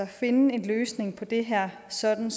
finde en løsning på det her sådan